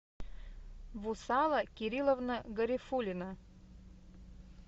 вусала кирилловна гарифуллина